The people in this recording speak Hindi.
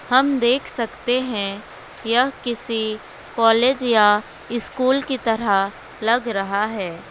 हम देख सकते है यह किसी कॉलेज या स्कूल की तरह लग रहा है।